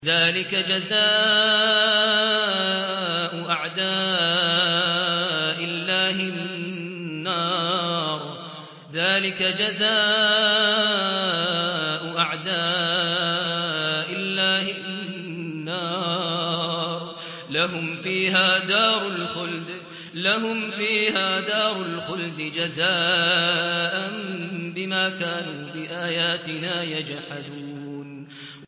ذَٰلِكَ جَزَاءُ أَعْدَاءِ اللَّهِ النَّارُ ۖ لَهُمْ فِيهَا دَارُ الْخُلْدِ ۖ جَزَاءً بِمَا كَانُوا بِآيَاتِنَا يَجْحَدُونَ